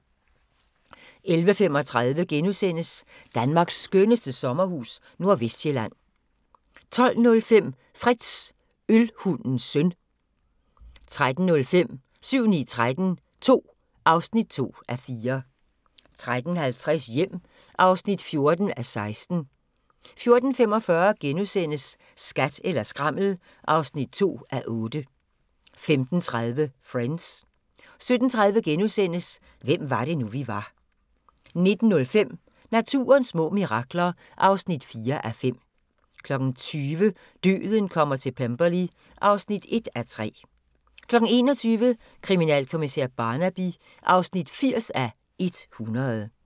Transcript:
11:35: Danmarks skønneste sommerhus – Nordvestsjælland * 12:05: Frits – Ølhundens søn 13:05: 7-9-13 II (2:4) 13:50: Hjem (14:16) 14:45: Skat eller skrammel (2:8)* 15:30: Friends 17:30: Hvem var det nu, vi var * 19:05: Naturens små mirakler (4:5) 20:00: Døden kommer til Pemberley (1:3) 21:00: Kriminalkommissær Barnaby (80:100)